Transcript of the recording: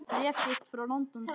Bréf þitt frá London, dags.